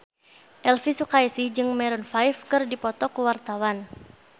Elvi Sukaesih jeung Maroon 5 keur dipoto ku wartawan